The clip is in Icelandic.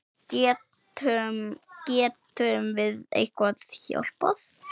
Getum, getum við eitthvað hjálpað?